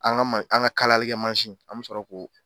An ga ma an ga kalalikɛ mansi an bi sɔrɔ k'o